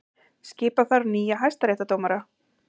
Skipa þarf nýja hæstaréttardómara